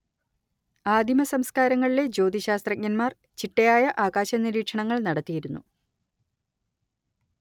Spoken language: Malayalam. ആദിമസംസ്‌കാരങ്ങളിലെ ജ്യോതിശാസ്ത്രജ്ഞന്മാർ ചിട്ടയായ ആകാശനിരീക്ഷണങ്ങൾ നടത്തിയിരുന്നു